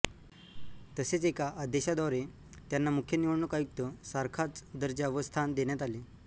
तसेच एका अद्यादेशाद्वारे त्यांना मुख्य निवडणूक आयुक्त सारखाच दर्जा व स्थान देण्यात आले